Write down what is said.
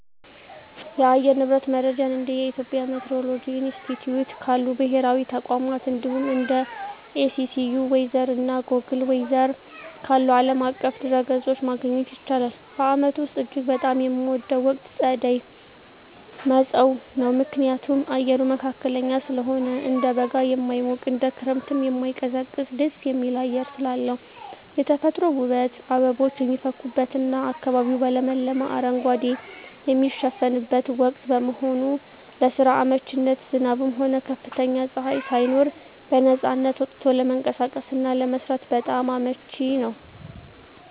የአየር ንብረት መረጃን እንደ የኢትዮጵያ ሚቲዎሮሎጂ ኢንስቲትዩት ካሉ ብሔራዊ ተቋማት፣ እንዲሁም እንደ AccuWeather እና Google Weather ካሉ ዓለም አቀፍ ድረ-ገጾች ማግኘት ይቻላል። በዓመቱ ውስጥ እጅግ በጣም የምወደው ወቅት ጸደይ (መጸው) ነው። ምክንያቱም፦ አየሩ መካከለኛ ስለሆነ፦ እንደ በጋ የማይሞቅ፣ እንደ ክረምትም የማይቀዘቅዝ ደስ የሚል አየር ስላለው። የተፈጥሮ ውበት፦ አበቦች የሚፈኩበትና አካባቢው በለመለመ አረንጓዴ የሚሸፈንበት ወቅት በመሆኑ። ለስራ አመቺነት፦ ዝናብም ሆነ ከፍተኛ ፀሐይ ሳይኖር በነፃነት ወጥቶ ለመንቀሳቀስና ለመስራት በጣም አመቺ ነው።